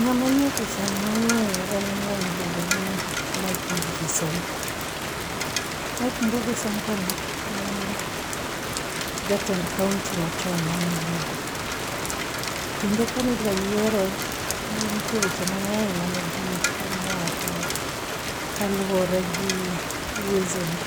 Ng'amanie picha ni mang'eyo en ng'amiluongo ni Mike Mbuvi Sonko. Mike Mbuvi Sonko ni en jatend kaonti machon ma Nairobi. Kendo kani dwa yiere, nitie weche mang'eny mane ji temo wacho kaluwore gi uwezo ne